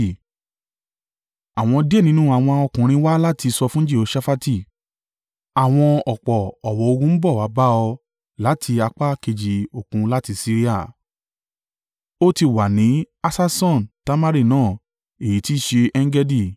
Àwọn díẹ̀ nínú àwọn ọkùnrin wá láti sọ fún Jehoṣafati, “Àwọn ọ̀pọ̀ ọ̀wọ́ ogun ń bọ̀ wá bá ọ láti apá kejì Òkun láti Siria. Ó ti wà ní Hasason Tamari náà” (èyí tí í ṣe En-Gedi).